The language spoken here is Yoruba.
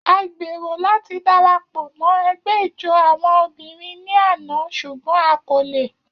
A gbero lati darapọ mọ ẹgbẹ ijó awọn obinrin ni ana ṣugbọn a ko le.